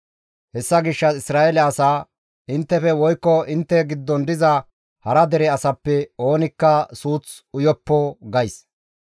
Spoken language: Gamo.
Hessa gishshas Isra7eele asaa, ‹Inttefe woykko intte giddon diza hara dere asappe oonikka suuth uyoppo› gays.